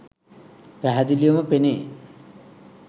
පැහැදිලිවම පෙනේ.